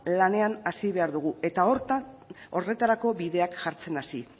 lanean hasi behar dugu eta horretarako bideak jartzen hasi